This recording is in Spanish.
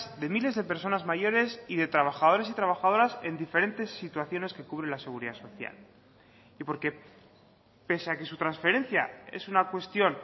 de miles de personas mayores y de trabajadores y trabajadoras en diferentes situaciones que cubre la seguridad social y porque pese a que su transferencia es una cuestión